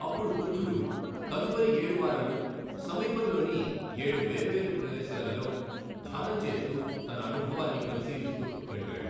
అప్పుడు బుద్ధుడు తదుపరి ఏడు వారాలు సమీపంలోని ఏడు వేర్వేరు ప్రదేశాలలో ధ్యానం చేస్తూ తన అనుభవాన్ని పరిశీలిస్తూ గడిపాడు.